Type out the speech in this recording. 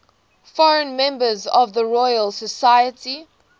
foreign members of the royal society